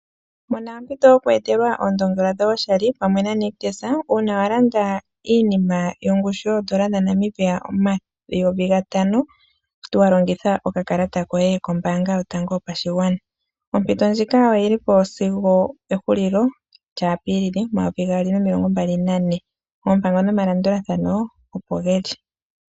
Mona ompito yo ku etelelwa oondongelwa dhoye oshali pamwe naNictus uuna walanda iinima yongushu yoondola dhaNamibia 5000, walongitha oka kalata koye kombaanga yotango yopashigwana. Ompito ndjika oyi li ko sigo ehulilo lya Apilili 2024, oompango nomalandulatha opo ge li.